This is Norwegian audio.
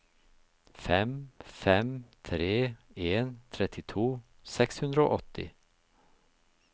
fem fem tre en trettito seks hundre og åtti